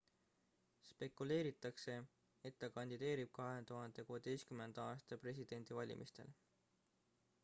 spekuleeritakse et ta kandideerib 2016 aasta presidendivalimistel